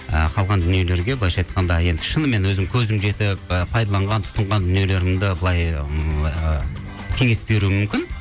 ы қалған дүниелерге былайша айтқанша енді шынымен өзім көзім жетіп ы пайдаланған тұтынған дүниелерімді былай ыыы кеңес беруім мүмкін